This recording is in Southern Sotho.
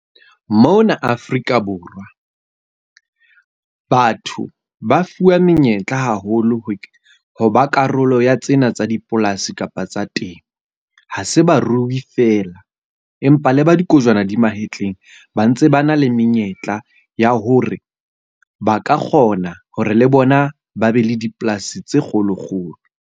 Mona Afrika Borwa, batho ba fuwa menyetla haholo ho ho ba karolo ya tsena tsa dipolasi kapa tsa temo. Ha se ba ruri fela, empa le ba dikojwana di mahetleng ba ntse ba na le menyetla ya hore ba ka kgona hore le bona ba be le dipolasi tse kgolo kgolo.